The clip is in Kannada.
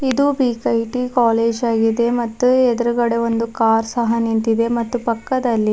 ಇದು ಬಿಗ್ ಐ_ಟಿ ಕಾಲೇಜ್ ಆಗಿದೆ ಮತ್ತು ಎದ್ರುಗಡೆ ಒಂದು ಕಾರ್ ಸಹ ನಿಂತಿದೆ ಮತ್ತು ಪಕ್ಕದಲ್ಲಿ--